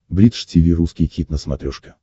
бридж тиви русский хит на смотрешке